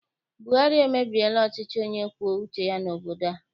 Buhari emebiela ọchịchị onye kwue uche ya n'obodo a.